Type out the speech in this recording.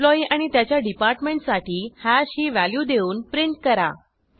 employee आणि त्याच्या डिपार्टमेंटसाठी हॅश ही व्हॅल्यू देऊन प्रिंट करा